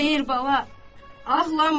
Xeyr, bala, ağlamıram.